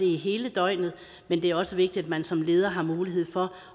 hele døgnet men det er også vigtigt at man som leder har mulighed for